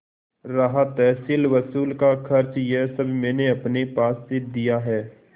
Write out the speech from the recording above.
रहा तहसीलवसूल का खर्च यह सब मैंने अपने पास से दिया है